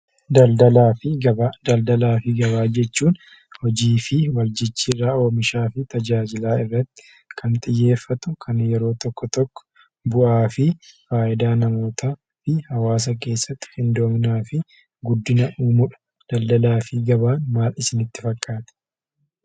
Daldalaa fi gabaa. Daldalaa fi gabaa jechuun hojii fi wal jijjiirrraa oomishaa fi tajaajilaa irratti kan xiyyeeffatu kan yeroo tokko tokko bu'aa fi faayidaa namootaa fi hawaasa keessatti qindoominaa fi guddina uumudha. Daldalaa fi gabaan maal isinitti fakkaata?